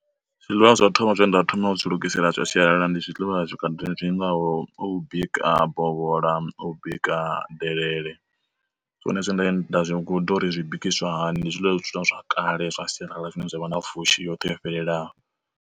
Zwiḽiwa zwa thoma zwe nda thoma u zwi lugisela zwa sialala ndi zwiḽiwa zwi khaḓi zwingaho u bika bovhola, u bika delele. Zwone zwine nda zwi guda uri zwi bikisiwa hani ndi zwiḽiwa zwithu zwa kale zwa sialala zwine zwavha na pfhushi yoṱhe yo fhelelaho.